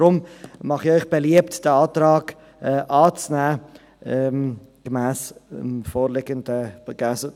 Deshalb mache ich Ihnen beliebt, diesen Antrag, so wie er vorliegt, anzunehmen.